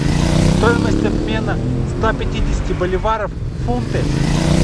стоимость обмена ста пятидесяти боливаров в фунты